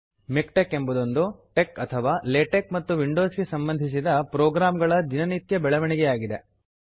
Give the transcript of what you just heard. MiKTeX ಎಂಬುದೊಂದು TeX ಅಥವಾ LaTeX ಮತ್ತು ವಿಂಡೋಸ್ ಗೆ ಸಂಬಂಧಿಸಿದ ಪ್ರೋಗ್ರಾಂ ಗಳ ದಿನನಿತ್ಯ ಬೆಳವಣಿಗೆ ಆಗಿದೆ